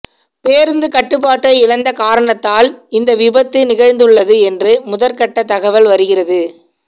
பேருந்து கட்டுப்பாட்டை இழந்த காரணத்தால் இந்த விபத்து நிகழ்ந்துள்ளது என்று முதற்கட்ட தகவல்கள் வருகிறது